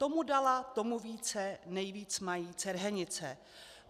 Tomu dala, tomu více, nejvíc mají Cerhenice.